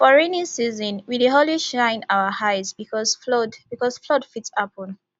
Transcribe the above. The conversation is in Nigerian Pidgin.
for rainy season we dey always shine our eyes because flood because flood fit happen